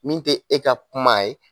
Min tɛ e ka kuma ye.